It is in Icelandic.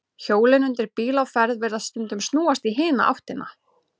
Hjólin undir bíl á ferð virðast stundum snúast í hina áttina.